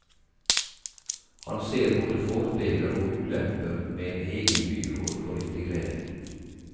Han ser både fordeler og ulemper med en egen byråd for integrering.